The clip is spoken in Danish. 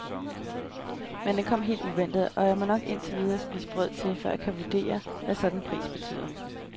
Men den kom helt uventet, og jeg må nok indtil videre spise brød til, før jeg kan vurdere, hvad sådan en pris betyder.